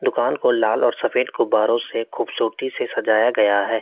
कान को लाल और सफेद गुब्बारों से खूबसूरती से सजाया गया है।